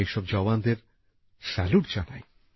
আমি এই সব জওয়ানদের স্যালুট জানাই